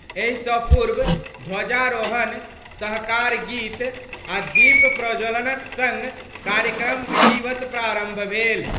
एहि स पूर्व ध्वजारोहण, सहकार गीत आ दीप प्रज्वलन क संग कार्यक्रम विधिवत प्रारंभ भेल।